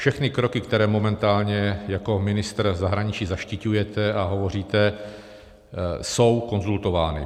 Všechny kroky, které momentálně jako ministr zahraničí zaštiťujete a hovoříte, jsou konzultovány.